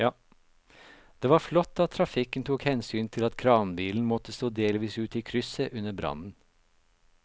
Det var flott at trafikken tok hensyn til at kranbilen måtte stå delvis ute i krysset under brannen.